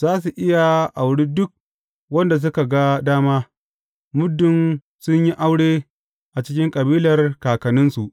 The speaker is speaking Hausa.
Za su iya auri duk wanda suka ga dama, muddin sun yi aure a cikin kabilar kakanninsu.